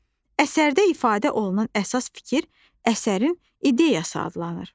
Əsərdə ifadə olunan əsas fikir əsərin ideyası adlanır.